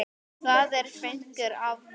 Það er fnykur af honum.